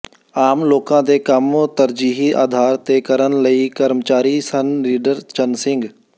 ਆਮ ਲੋਕਾਂ ਦੇ ਕੰਮ ਤਰਜੀਹੀ ਆਧਾਰ ਤੇ ਕਰਨ ਵਾਲੇ ਕਰਮਚਾਰੀ ਸਨ ਰੀਡਰ ਚੰਨ ਸਿੰਘ